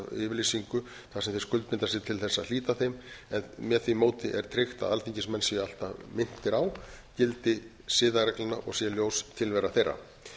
þeir skuldbinda sig til þess að hlíta þeim en með því móti er tryggt að alþingismenn séu alltaf minntir á gildi siðareglnanna og sé ljós tilvera þeirra ég